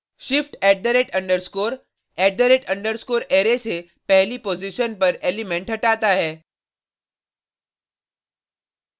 shift @_@_ array array से पहली position पर एलिमेंट हटाता है